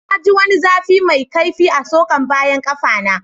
Na ji wani zafi mai kaifi a'tsokan bayan kaffa na.